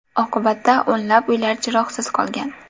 Oqibatda o‘nlab uylar chiroqsiz qolgan.